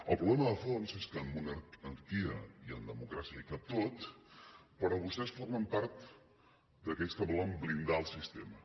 el problema de fons és que en monarquia i en democràcia hi cap tot però vostès formen part d’aquells que volen blindar el sistema